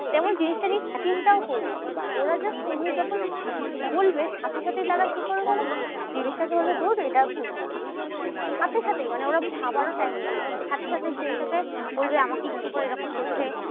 তেমন জিনিসটা নিয়ে চিন্তাও করবো। ওরা just তুমি যখন বলবে, সাথে সাথে তারা কি করবে বলোতো? জিনিসটাকে বলবে ধুর এটা ভুল। সাথে সাথেই মানে ওরা ভাবারও time নেবে না। সাথে সাথে জিনিসটাকে বলবে আমাকে ইচ্ছা করে এরকম করছে